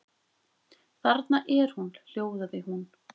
Þarna er hún, hljóðaði hún.